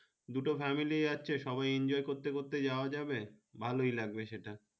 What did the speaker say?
দুটো family সবাই enjoy করতে করতে যাওয়া যাবে ভালোই লাগবে সেটা